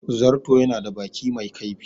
Zarto ya na da baki mai kaifi